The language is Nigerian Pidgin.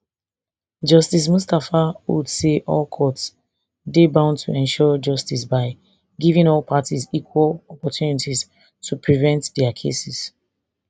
justice mustapha hold say all courts dey bound to ensure justice by giving all parties equal opportunities to present dia cases